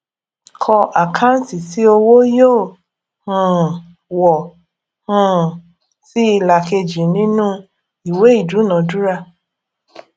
kọ àkáǹtì tí owó yóò um wọ um sí ìlà kejì nínú ìwé ìdúnadúrà